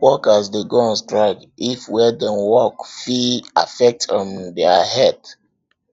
workers de go on strike if where dem walk fit affect um their health